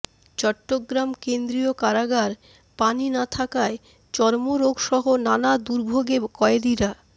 চট্টগ্রাম কেন্দ্রীয় কারাগার পানি না থাকায় চর্মরোগসহ নানা দুর্ভোগে কয়েদিরা